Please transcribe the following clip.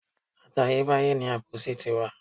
Àtayé báyé ni àbòsí ti wà.